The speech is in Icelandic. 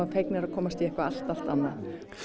fegnir að komast í eitthvað allt allt annað